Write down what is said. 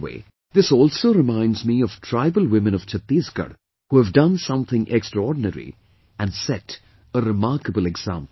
By the way, this also reminds me of tribal women of Chattisgarh, who have done something extraordinary and set a remarkable example